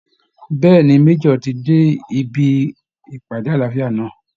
Bẹ́ẹ̀ ni, Major ti dé ibi ìpàdé àlàáfíà náà